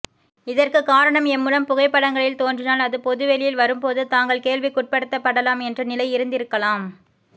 இதற்கு காரணம் எம்முடன் புகைப்படங்களில் தோன்றினால் அது பொதுவெளியில் வரும் போது தாங்கள் கேள்விக்குட்படுத்தப்படலாம் என்ற நிலை இருந்திருக்கலாம்